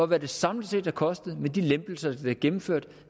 hvad det samlet set har kostet med de lempelser der er gennemført